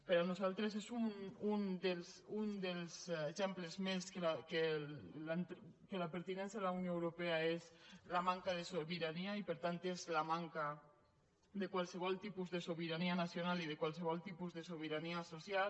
per nosaltres és un dels exemples més que la pertinença a la unió europea és la manca de sobirania i per tant és la manca de qualsevol tipus de sobirania nacional i de qualsevol tipus de sobirania social